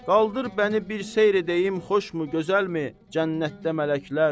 Qaldır məni, bir seyr edəyim xoşmu, gözəlmi Cənnətdə mələklər.